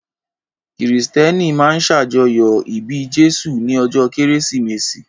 Kìrìsìtẹ́nì máa ń ṣàjọyọ̀ ìbí Jésù ní ọjọ́ Kérésìmesì